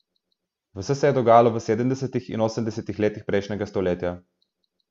Vse se je dogajajo v sedemdesetih in osemdesetih letih prejšnjega stoletja.